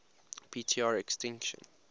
p tr extinction